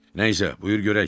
Nə isə, buyur görək.